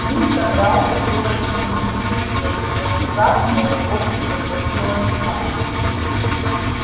ли собрался было что-нибудь ответить но внезапно у него перехватило дыхание